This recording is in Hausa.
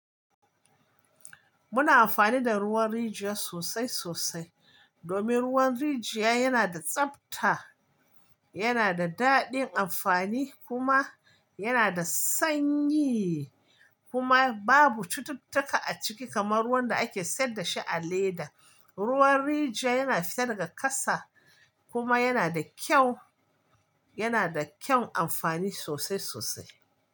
Muna amfani da ruwan rijiya sosai sosai domin ruwan rijiya yana da tsabta, yana da daɗin amfani kuma yana da sanyi kuma babu cututtuka a ciki kamar ruwan da ake siyar da shi a leda. Ruwan rijiya yana fita daga ƙasa kuma yana da kyau, yana da kyan amfani sosai sosai.